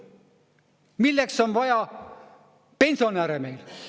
Milleks on vaja pensionäre meil?